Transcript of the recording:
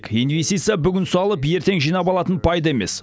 инвестиция бүгін салып ертең жинап алатын пайда емес